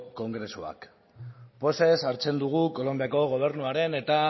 kongresuak pozez hartzen dugu kolonbiako gobernuaren eta